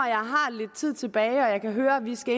lidt tid tilbage og jeg kan høre at vi skal